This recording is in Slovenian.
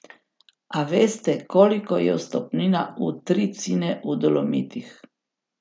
A veste, koliko je vstopnina v Tri Cine v Dolomitih?